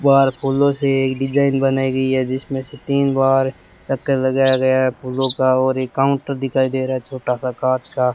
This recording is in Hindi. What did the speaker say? बाहर फूलों से एक डिजाइन बनाई गई है जिसमें से तीन बार चक्कर लगाया गया है फूलों का और एक काउंटर दिखाई दे रहा है छोटा सा कांच का।